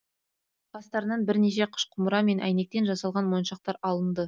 қастарынан бірнеше қыш құмыра мен әйнектен жасалған моншақтар алынды